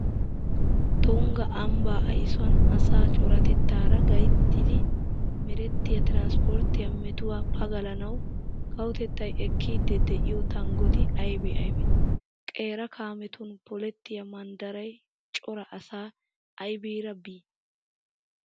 Tungga ambbaa aysuwan asaa coratettaara gayttidi merettiya tiransppirttiya metuwa pagalanawu kawotettay ekkiiddi de'iyo tanggoti aybee aybee? Qeera kaametun polettiya manddaray cora asaa abbiyara bii?